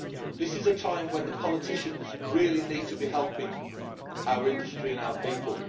This is a time when the politicians really need to be helping our industry and our people.